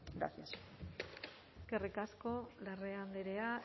gracias eskerrik asko larrea andrea